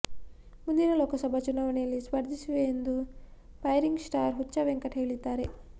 ಮುಂದಿನ ಲೋಕಸಭಾ ಚುನಾವಣೆಯಲ್ಲಿ ಸ್ಪರ್ಧಿಸುವೆ ಎಂದು ಫೈರಿಂಗ್ ಸ್ಟಾರ್ ಹುಚ್ಚ ವೆಂಕಟ್ ಹೇಳಿದ್ದಾರೆ